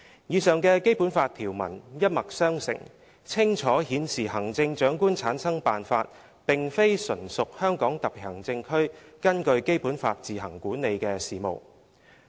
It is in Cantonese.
以上的《基本法》條文一脈相承，清楚顯示行政長官產生辦法並非純屬香港特別行政區根據《基本法》自行管理的事務。